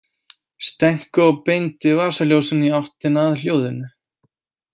Stenko beindi vasaljósinu í áttina að hljóðinu.